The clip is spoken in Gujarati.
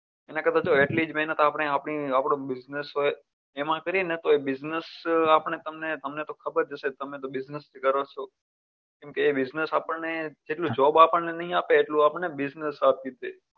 એના કરતા તો એટલી જ મહેનત આપડે આપણી આપણો business હોય એમાં કરીયે ને તો business આપણને તમને તમને તો ખબર જ હશે તમને તમે તો business કરો છો. એ business આપણ ને job આપણ ને નહીં આપે એટલું આપણને business આપી દેય